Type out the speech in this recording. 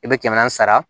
I bɛ kɛmɛ naani sara